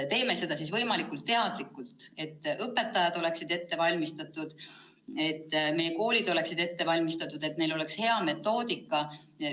Teeme seda võimalikult teadlikult, et õpetajad oleksid ette valmistatud, et meie koolid oleksid ette valmistatud ja et neil oleks hea metoodika.